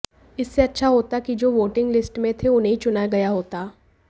इससे अच्छा होता कि जो वोटिंग लिस्ट में थे उन्हें ही चुना गया होता